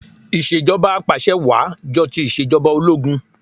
Ìṣèjọbà apàṣẹwàá jọ ti ìṣèjọba ológun